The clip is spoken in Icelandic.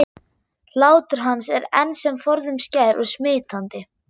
Hlátur hans er enn sem forðum skær og smitandi.